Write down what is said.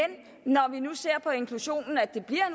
når vi nu ser på inklusionen at den bliver